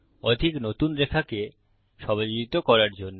অধিক নতুন রেখাকে সমাযোজিত করার জন্য